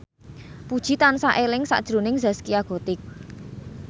Puji tansah eling sakjroning Zaskia Gotik